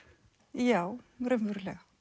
já raunverulega